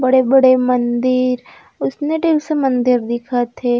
बड़े-बड़े मंदिर उसने टाइप्स से मंदिर दिखत हे।